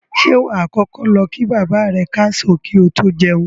Ṣé wà á kọ́kọ́ lọ kí bàbá rẹ káàsán kí o tó jẹun?